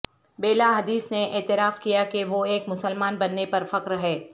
بیلا Hadid نے اعتراف کیا کہ وہ ایک مسلمان بننے پر فخر ہے